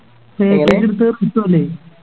Package എടുത്തേ റിസു അല്ലെ